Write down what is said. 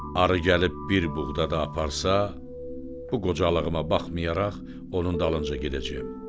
Arı gəlib bir buğda da aparsa, bu qocalığıma baxmayaraq onun dalınca gedəcəyəm.